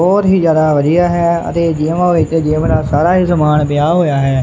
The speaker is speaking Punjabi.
ਬਹੁਤ ਹੀ ਜਿਆਦਾ ਵਧੀਆ ਹੈ ਅਤੇ ਜਿਮ ਵਿਚ ਜਿਮ ਦਾ ਸਾਰਾ ਹੀ ਸਮਾਨ ਪਿਆ ਹੋਇਆ ਹੈ।